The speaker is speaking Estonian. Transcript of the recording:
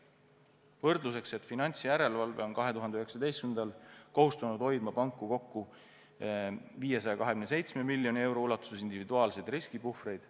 Võrdluseks: finantsjärelevalve on 2019. aastal kohustunud panku hoidma kokku 527 miljoni euro ulatuses individuaalseid riskipuhvreid.